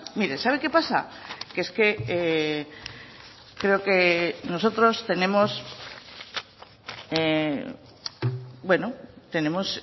mire sabe qué pasa que es que creo que nosotros tenemos bueno tenemos